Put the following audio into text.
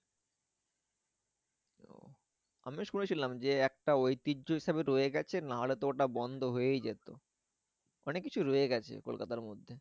আমিও শুনেছিলাম যে একটা ঐতিহ্য হিসাবে রয়ে গেছে না হলে তো ওটা বন্ধ হয়েই যেত। অনেক কিছু রয়ে গেছে কলকাতার মধ্যে।